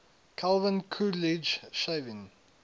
calvin coolidge shaving